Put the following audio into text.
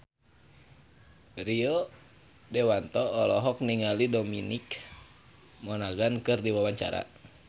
Rio Dewanto olohok ningali Dominic Monaghan keur diwawancara